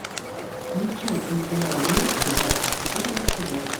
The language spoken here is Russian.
включай телеканал мир двадцать четыре на тв